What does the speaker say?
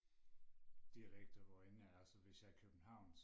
dialekter hvor end jeg er så hvis jeg er i København